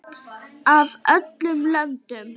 Af öllum löndum.